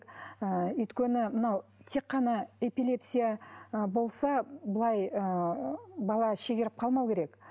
ыыы өйткені мынау тек қана эпилепсия ы болса былай ы бала шегеріп қалмауы керек